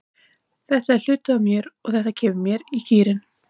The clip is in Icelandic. Þetta er hluti af mér og þetta kemur mér í gírinn.